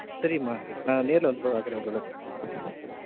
சரிம்மா நான் நேர்ல வந்து பாக்றன் உங்கள